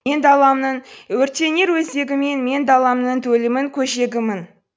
мен даламның өртенер өзегімін мен даламның төлімін көжегімін